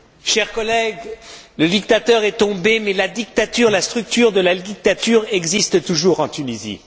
Chers collègues, le dictateur est tombé, mais la dictature, la structure de la dictature existe toujours en Tunisie.